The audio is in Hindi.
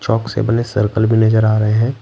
चाक से बने सर्कल भी नजर आ रहे हैं।